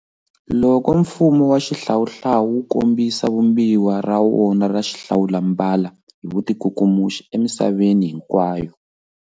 Loko mfumo wa xihlawuhlawu wu kombisa vumbiwa ra wona ra xihlawulambala hi vutikukumuxi emisaveni hinkwayo.